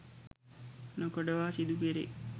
නොකඩවා සිදුකෙරෙයි.